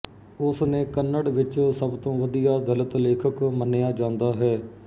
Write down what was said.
ਉਸ ਨੇ ਕੰਨੜ ਵਿੱਚ ਸਭ ਤੋਂ ਵਧੀਆ ਦਲਿਤ ਲੇਖਕ ਮੰਨਿਆ ਜਾਂਦਾ ਹੈ